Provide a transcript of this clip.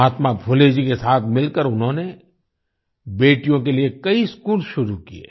महात्मा फुले जी के साथ मिलकर उन्होंने बेटियों के लिए कई स्कूल शुरू किए